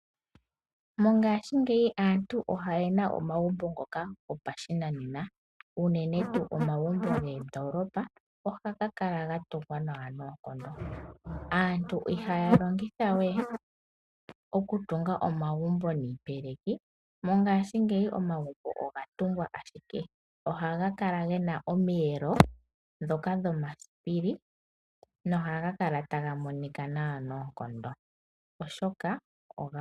Mongashingeyi aantu oyena omagumbo ngoka gopashinanena, unene tu omagumbo meendoolopa, ohaga Kala gatungwa nawa noonkondo. Aantu ihaya longitha we iipeleki okutunga omagumbo. Mongashingeyi omagumbo ogatungwa ashike. Ohaga Kala gena omiyelo ndhoka dhomasipili, nohaga Kala taga monika nawa noonkondo.